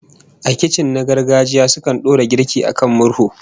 A kicin na gargajiya, akan dora girki a kan murhu